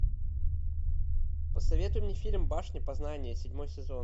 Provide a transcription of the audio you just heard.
посоветуй мне фильм башня познания седьмой сезон